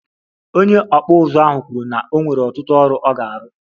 Onye okpu uzu ahụ kwuru na o nwere ọtụtụ ọrụ ọ ga-arụ